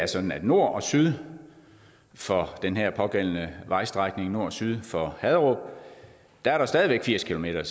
sådan at nord og syd for den her pågældende vejstrækning nord og syd for haderup er der stadig væk firs kilometer